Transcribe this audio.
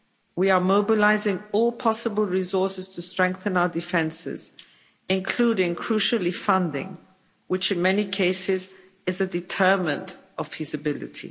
We are mobilising all possible resources to strengthen our defences, including crucially funding, which in many cases is a determinant of feasibility.